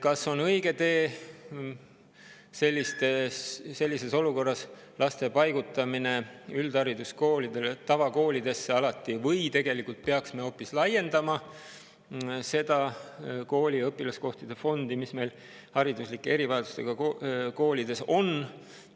Kas on õige sellises olukorras lapsi alati tavakoolidesse paigutada või peaksime hoopis laiendama seda õpilaskohtade fondi, mis meil hariduslike erivajadustega koolides on?